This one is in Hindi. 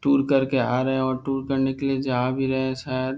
टूर करके आ रहे हैं और टूर करने के लिए जा भी रहे हैं शायद ।